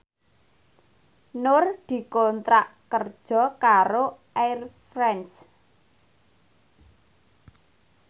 Nur dikontrak kerja karo Air France